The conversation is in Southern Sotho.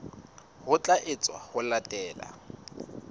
ho tla etswa ho latela